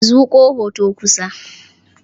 Zuƙo hoton kusa.